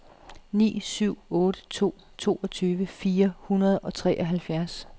ni syv otte to toogtyve fire hundrede og treoghalvfjerds